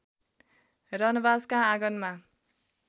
रनबासका आँगनमा